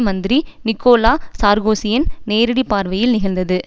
மந்திரி நிக்கோலா சார்க்கோசியின் நேரடி பார்வையில் நிகழ்ந்தது